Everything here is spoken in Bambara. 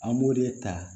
An b'o de ta